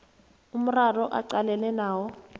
umraro aqalene nawo